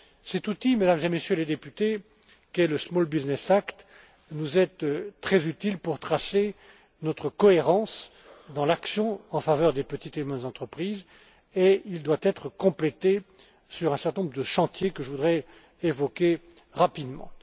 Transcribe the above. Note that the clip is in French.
Cet outil, Mesdames et Messieurs les députés, qu'est le Small Business Act nous est très utile pour garder notre cohérence dans l'action en faveur des petites et moyennes entreprises, et il doit être complété sur un certain nombre de chantiers que je voudrais évoquer rapidement.